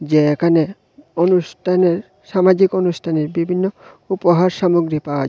যে এখানে অনুষ্ঠানের সামাজিক অনুষ্ঠানের বিভিন্ন উপহার সামগ্রী পাওয়া যায়।